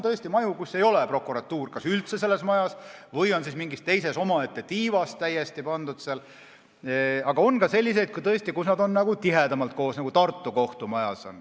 On maju, kus prokuratuuri ei ole kas üldse või ta on siis mingis täiesti omaette tiivas, aga on ka selliseid maju, kus nad on tihedamalt koos, nagu Tartu kohtumajas on.